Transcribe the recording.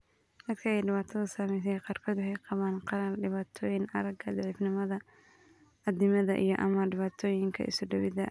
Dadka ay dhibaatadu saameysey qaarkood waxay qabaan qalal, dhibaatooyin aragga, daciifnimada addimada, iyo/ama dhibaatooyinka isuduwidda.